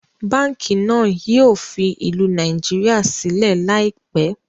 Báànkì náà yìí ó fi ìlú Nàìjíríà sílẹ̀ laipẹ́